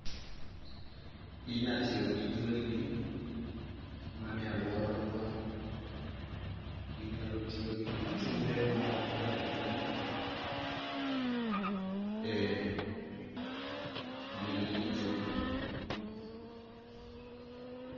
Ginya tiyo gi jwelni ma nie alwora marwa, ginyalo tiyo gi chumbe ma okwany okwany. Ee jwelni gi chumbe.